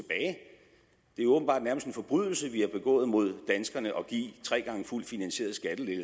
er jo åbenbart nærmest en forbrydelse vi har begået mod danskerne at give tre gange fuldt finansierede